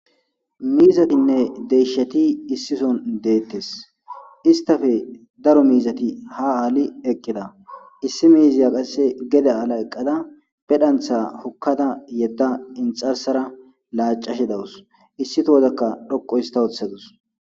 Miizatinne deisheti issison deettes istafe daro miizati ha aali eqqida issi miiziya qasse gede aala eqqada pedhantha hukkada yedda inxarsara laacashe dawus issito hozakka dhoqo ista woththadus.